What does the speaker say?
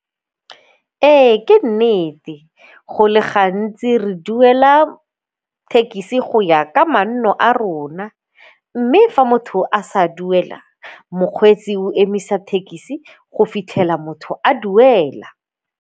Ee, ke nnete go le gantsi re duela thekisi go ya ka manno a rona mme fa motho a sa duela, mokgweetsi o emisa thekisi go fitlhela motho a duela.